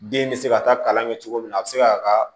Den bɛ se ka taa kalan kɛ cogo min na a bɛ se k'a ka